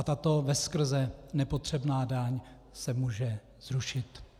A tato veskrze nepotřebná daň se může zrušit.